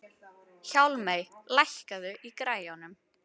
Hjálmey, lækkaðu í græjunum.